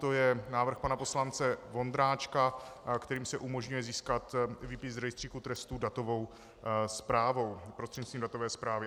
To je návrh pana poslance Vondráčka, kterým se umožňuje získat výpis z rejstříku trestů datovou zprávou, prostřednictvím datové zprávy.